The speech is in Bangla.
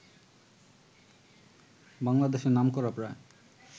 বাংলাদেশের নামকরা প্রায়